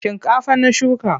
Shinkafa na shuka.